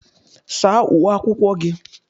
Saa uwe akwụkwọ gị!